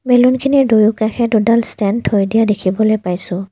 বেলুনখিনিৰ দুয়োকাষে দুডাল ষ্টেণ্ড থৈ দিয়া দেখিবলৈ পাইছোঁ।